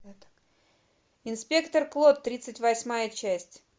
инспектор клот тридцать восьмая часть